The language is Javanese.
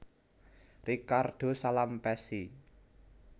Ricardo Salampessy